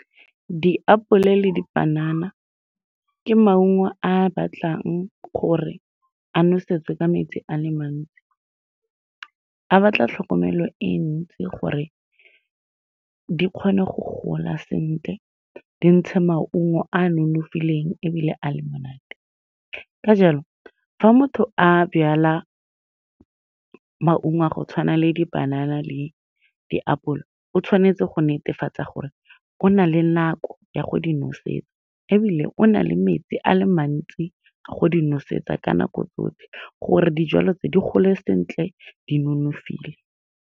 Diapole le dipanana ke maungo a a batlang gore a nosetswe ka metsi a le mantsi. A batla tlhokomelo e ntsi gore di kgone go gola sentle, di ntshe maungo a a nonofileng ebile a le monate. Ka jalo, fa motho a jala maungo a go tshwana le di-banana le diapole, o tshwanetse go netefatsa gore o na le nako ya go di nosetsa, ebile o na le metsi a le mantsi go di nosetsa ka nako tsotlhe gore dijalo tse di gole sentle, di nonofile.